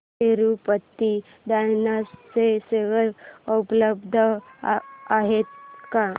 Tirupati tyres चे share उपलब्ध आहेत का